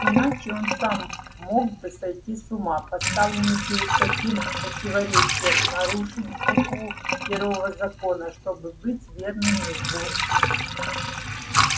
иначе он сам мог бы сойти с ума поставленный перед таким противоречием нарушить букву первого закона чтобы быть верным его духу